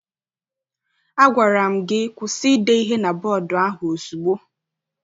A gwara m gị kwụsị ide ihe na bọdu ahụ ozugbo!